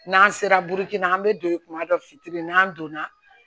N'an sera burukina an bɛ don ye tuma dɔ fitiri n'an donna